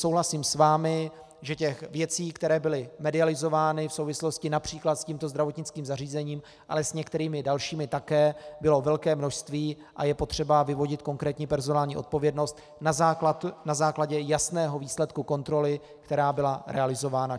Souhlasím s vámi, že těch věcí, které byly medializovány v souvislosti například s tímto zdravotnickým zařízením, ale s některými dalšími také, bylo velké množství a je potřeba vyvodit konkrétní personální odpovědnost na základě jasného výsledku kontroly, která byla realizována.